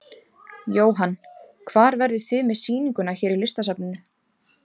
Jóhann: Hvar verðið þið með sýninguna hér í Listasafninu?